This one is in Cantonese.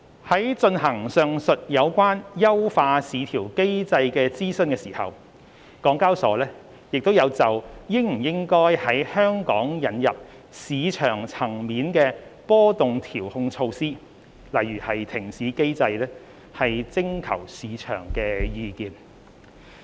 在進行上述有關優化市調機制的諮詢時，港交所亦有就應否在香港引入市場層面波動調控措施徵求市場的意見。